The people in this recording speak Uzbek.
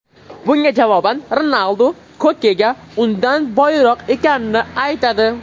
Bunga javoban Ronaldu Kokega undan boyroq ekanini aytadi.